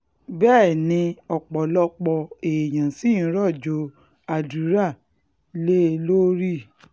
bẹ́ẹ̀ um ni ọ̀pọ̀lọpọ̀ èèyàn ṣì ń rọ̀jò àdúrà um lé e lórí